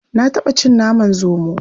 Na taɓa cin naman zomo.